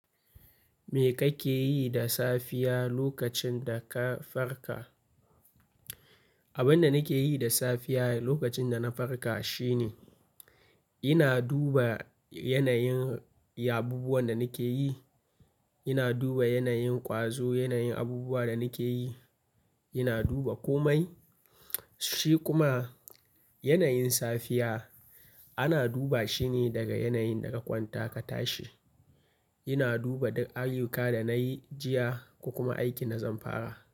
Me kake yi da safiya lokacin da ka farka? Abinda nake yi da safiya lokacin da na farka shine, ina duba yanayin abubuwan da nake yi. Ina duba yanayin ƙwazo, yanayin abubuwa da nake yi. Ina duba komai. Shi kuma yanayin safiya ana duba shine daga yanayin da ka kwanta ka tashi. Ina duba duk ayyuka da nayi jiya ko kuma aikin da zan fara.